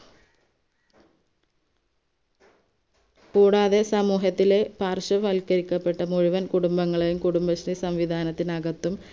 കൂടാതെ സമൂഹത്തിലെ പാർശ്വവൽക്കരിക്കപ്പെട്ട മുഴുവൻ കുടുംബങ്ങളെ കുടുംബശ്രീ സംവിദാനത്തിനകത്തും